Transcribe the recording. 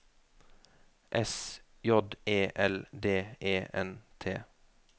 S J E L D E N T